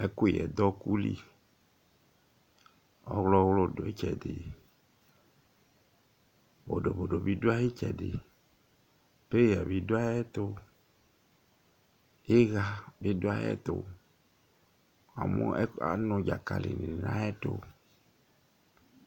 Ɛkʋyɛ du ɔku li Ɔwlɔ wʋlu dʋ itsɛdi Bodo bodo bi du ayʋ itsɛdi Peya bi du ayʋ ɛtu Iha ni du ayʋɛtu Anʋ dzakali ni nʋ ayʋɛtu